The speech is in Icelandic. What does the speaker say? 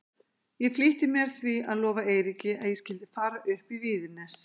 Ég flýtti mér því að lofa Eiríki að ég skyldi fara upp í Víðines.